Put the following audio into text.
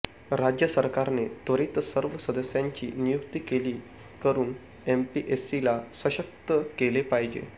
राज्य सरकारने त्वरीत सर्व सदस्यांची नियुक्ती केली करून एमपीएससीला सशक्त केले पाहिजे